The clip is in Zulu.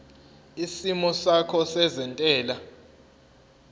isimo sakho sezentela